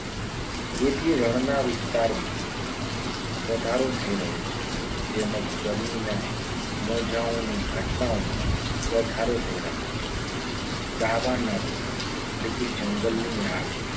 જેથી રણના વિસ્તારમાં વધારો થઈ રહ્યો છે. તેમ જ ગરમીના મોજાઓની ઘટનાઓમાં વધારો થઈ રહ્યો છે. દાવાનળ એટલે કે જંગલની આગ